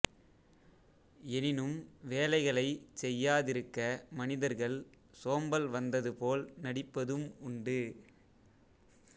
எனினும் வேலைகளைச் செய்யாதிருக்க மனிதர்கள் சோம்பல் வந்தது போல் நடிப்பதும் உண்டு